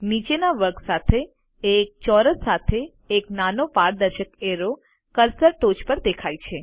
નીચેના વર્ગ સાથે એક ચોરસ સાથે એક નાનો પારદર્શક એરો કર્સર ટોચ પર દેખાય છે